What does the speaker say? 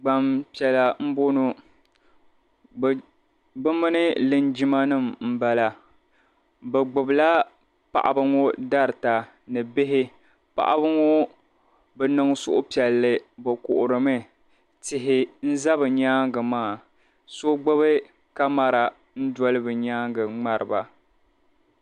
Gbampiɛla m-bɔŋɔ bɛ mini linjimanima m-bala. Bɛ gbibila paɣiba ŋɔ darita ni bihi. Paɣiba ŋɔ bi niŋ suhupiɛlli bɛ kuhirimi. Tihi n-za bɛ nyaaŋga maa. So gbibi kamara n-doli bɛ nyaaŋga n-ŋmari ba.